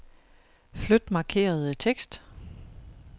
Flyt markerede tekst.